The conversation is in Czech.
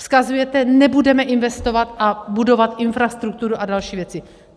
Vzkazujete: Nebudeme investovat a budovat infrastrukturu a další věci.